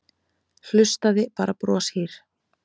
Hlustaði bara broshýr.